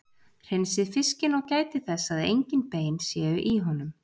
Hreinsið fiskinn og gætið þess að engin bein séu í honum.